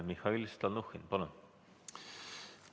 Mihhail Stalnuhhin, palun!